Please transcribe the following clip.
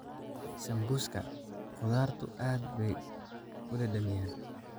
Sambuuska khudaartu aad bay u dhadhamiyaan.